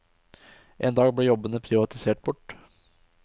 En dag ble jobbene privatisert bort.